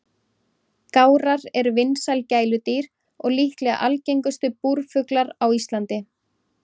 Gárar eru vinsæl gæludýr og líklega algengustu búrfuglar á Íslandi.